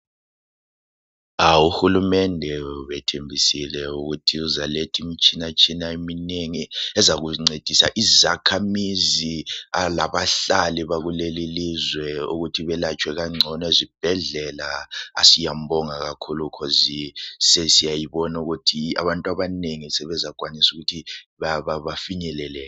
UHulumende ubethembisile ukuthi uzaletha imitshina eminengi ezakuncedisa izakhamizi labahlali bakuleli ilizwe ukuze behlatshwe kalula ezibhedlela. Siyambonga kakhulu ngoba abantu abanengi sebezakwanisa ukuthi bafinyelele.